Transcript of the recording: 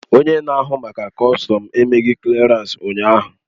Onye na-ahụ maka kọstọm emeghị klịarans ụnyaahụ